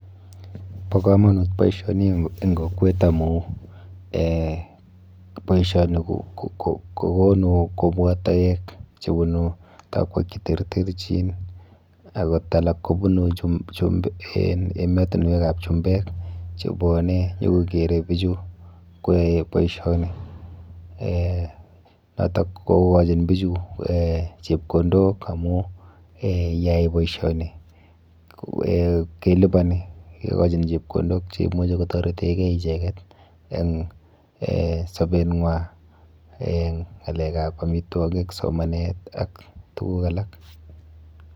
Bo komonut boisioni eng kokwet amu eh boisioni kokonu kobwa toek chepunu tokwek cheterterchin akot alak kobunu ematinwekap chumbek chebwone nyokokere bichu koyae boisioni. Eh noto kokochin bichu eh chepkondok amu eh yeyai boisioni eh keliponi, kekochin chepkondok cheimuchi kotoretekei icheket eng eh sobenwa, eng ng'alekap amitwokok, somanet ak tuguk alak.